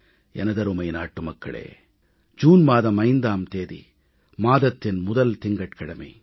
எனதருமை நாட்டு மக்களே ஜூன் மாதம் 5ஆம் தேதி மாதத்தின் முதல் திங்கட்கிழமை